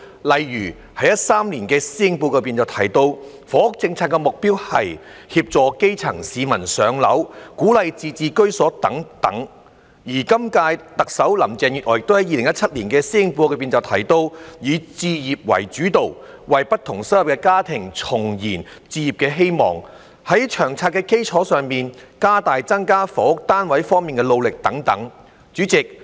例如2013年的施政報告提到，房屋政策的目標是"協助基層市民'上樓'"、"鼓勵自置居所"等；而今屆特首林鄭月娥亦在2017年的施政報告提到，"以置業為主導，為不同收入的家庭重燃置業希望"、在"《長策》的基礎上，加大增加房屋單位方面的努力"等。